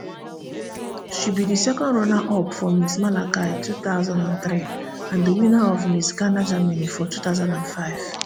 she be di secondrunner up for miss malaika two thousand and three and di winner of miss ghana germany for two thousand and five